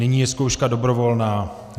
Nyní je zkouška dobrovolná.